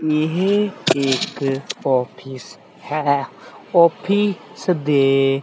ਇਹ ਇੱਕ ਆਫਿਸ ਹੈ ਆਫਿਸ ਦੇ--